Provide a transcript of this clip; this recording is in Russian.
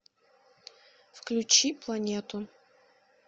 включи планету